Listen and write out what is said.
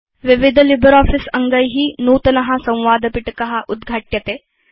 विविध लिब्रियोफिस अङ्गै नूतनं संवादपिटक उद्घाट्यते